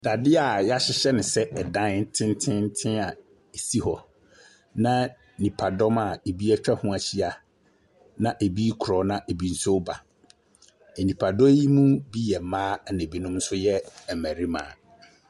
Dadeɛ a yahyehyɛ no sɛ ɛdan tententen a esi hɔ na nnipadɔm a ebi ɛtwa ho ɛhyia na ebi korɔ na ebi nso ɛɛba. Ɛnipdɔm yi mu bi yɛ mmaa na ebi nso yɛ mmarima.